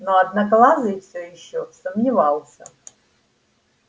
но одноглазый всё ещё сомневался